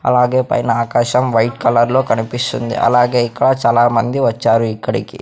అలాగే పైన ఆకాశం వైట్ కలర్ లో కనిపిస్తుంది అలాగే ఇక్కడ చాలామంది వచ్చారు ఇక్కడికి.